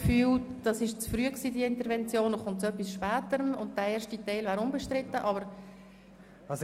Ich habe das Gefühl, dass diese Intervention zu früh gekommen und der erste Teil unbestritten ist.